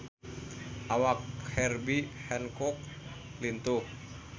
Awak Herbie Hancock lintuh